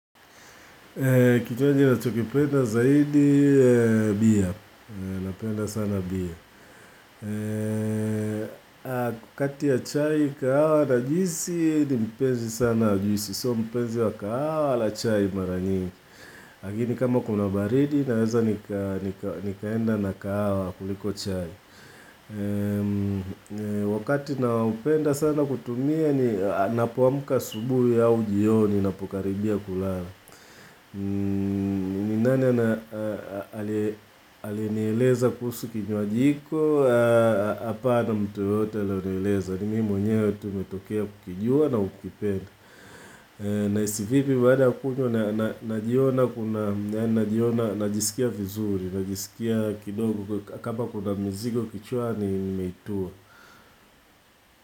Kinywaji nachokipenda zaidi bia, napenda sana bia. Kati ya chai, kahawa na juisi, ni mpenzi sana wa juisi. Sio mpenzi wa kahawa wala chai mara nyingi. Lakini kama kuna baridi naweza nikaenda na kahawa kuliko chai. Wakati naopenda sana kutumia ni napoamka asubuhi au jioni napokaribia kulala. Ni nani ali aliyenieleza kuhusu kinywaji iko, hapana mtu yoyote aliyonieleza, ni mimi mwenyewe tu nimetokea kukijua na kukipenda. Nahisi vipi baada ya kunywa? Najiona kuna, najiona, najisikia vizuri, najisikia kidogo kama kuna mzigo kichwani imeitua.